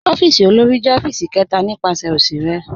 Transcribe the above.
Ọ̀fíìsì òlórí jẹ̀ ọ̀fíìsì kẹta nípasẹ̀ osì rẹ.